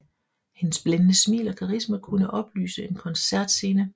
Hendes blændende smil og karisma kunne oplyse en koncertscene